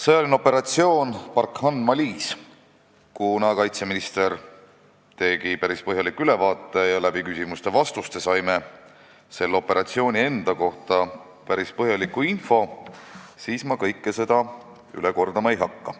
Sõjaline operatsioon Barkhane Malis – kuna kaitseminister tegi päris põhjaliku ülevaate ja saime ka küsimustest ja vastustest selle operatsiooni kohta päris palju infot, siis ma seda kõike üle kordama ei hakka.